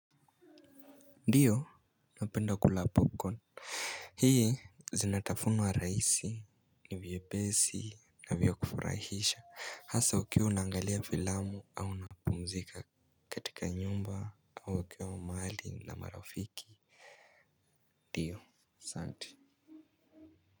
Ndiyo napenda kula brocoli. Hii zinatafunwa rahisi ni vyepesi na vya kufurahisha hasaa ukiwa unaangalia filamu au unapumzika katika nyumba au ukiwa mahali na marafiki ndiyo aSanti.